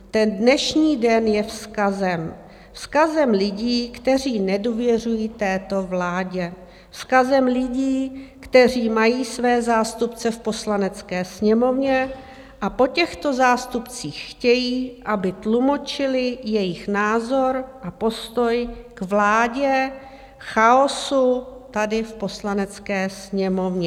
Ten dnešní den je vzkazem, vzkazem lidí, kteří nedůvěřují této vládě, vzkazem lidí, kteří mají své zástupce v Poslanecké sněmovně a po těchto zástupcích chtějí, aby tlumočili jejich názor a postoj k vládě chaosu tady v Poslanecké sněmovně.